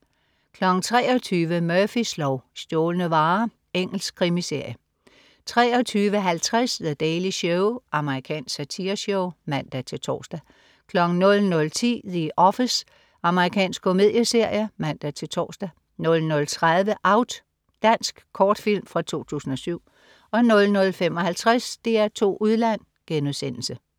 23.00 Murphys lov: Stjålne varer. Engelsk krimiserie 23.50 The Daily Show. Amerikansk satireshow (man-tors) 00.10 The Office. Amerikansk komedieserie (man-tors) 00.30 Out. Dansk kortfilm fra 2007 00.55 DR2 Udland*